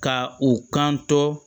Ka u kan to